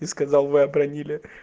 ты сказал вы обронили